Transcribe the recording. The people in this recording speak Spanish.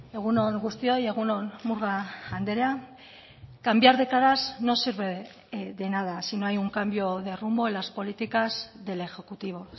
egun on guztioi egun on murga andrea cambiar de caras no sirve de nada si no hay un cambio de rumbo en las políticas del ejecutivo